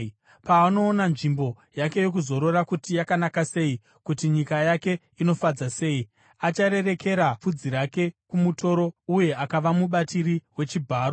Paanoona nzvimbo yake yokuzorora kuti yanaka sei uye kuti nyika yake inofadza sei, acharerekera pfudzi rake kumutoro uye achava mubatiri wechibharo.